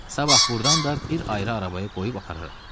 Sabah burdan da bir ayrı arabaya qoyub apararam.